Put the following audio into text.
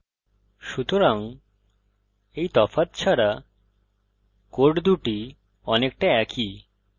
সুতরাং এই তফাৎ ছাড়া codes দুটি অনেকটা একই